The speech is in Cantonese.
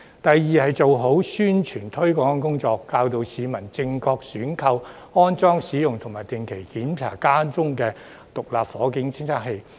第二，要做好宣傳推廣工作，教導市民正確選購、安裝、使用及定期檢查家中的獨立火警偵測器。